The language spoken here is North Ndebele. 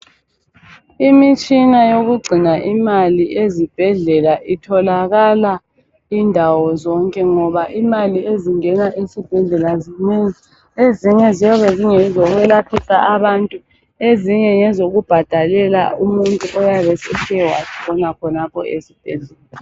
Imitshina eyokugcina imali ezibhedlela itholakaka indawo zonke ngoba imali ezingena ezibhedlela zinengi, ezinye ziyabe zingezokwelaphisa abantu ezinye ngezokubhadalela umuntu oyabesethe watshona khonapha esibhedlela.